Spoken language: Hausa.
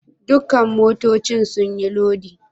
Dukan motoccin sun yi lodi?.